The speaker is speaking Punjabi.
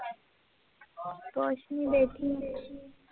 ਕੁਛ ਨੀ ਬੈਠੀ ਹੋਈ ਸੀ